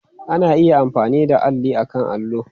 Ana iya amfani da alli akan allo.